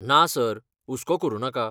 ना सर, हुस्को करुनाका.